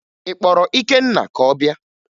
Ị kpọrọ Ikenna ka ọ bịa?